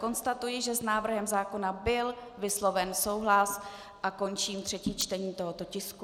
Konstatuji, že s návrhem zákona byl vysloven souhlas, a končím třetí čtení tohoto tisku.